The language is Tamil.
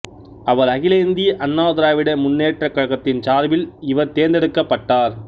அவர் அகில இந்திய அண்ணா திராவிட முன்னேற்றக் கழகத்தின் சார்பில் இவர் தேர்ந்தெடுக்கப்பட்டார்